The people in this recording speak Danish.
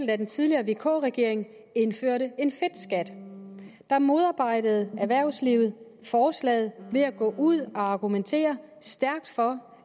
da den tidligere vk regering indførte en fedtskat der modarbejdede erhvervslivet forslaget ved at gå ud og argumentere stærkt for